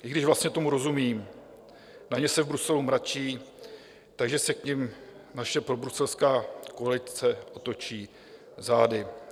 I když vlastně tomu rozumím: na ně se v Bruselu mračí, takže se k nim naše probruselská koalice otočí zády.